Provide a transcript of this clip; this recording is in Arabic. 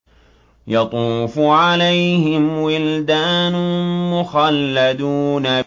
يَطُوفُ عَلَيْهِمْ وِلْدَانٌ مُّخَلَّدُونَ